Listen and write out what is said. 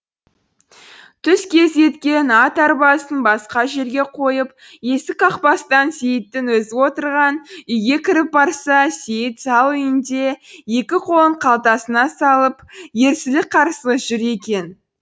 түс кезі екен ат арбасын басқа жерге қойып есік қақпастан сейіттің өзі отырған үйге кіріп барса сейіт зал үйінде екі қолын қалтасына салып ерсілі қарсылы жүр екен